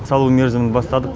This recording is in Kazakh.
салу мерзімін бастадық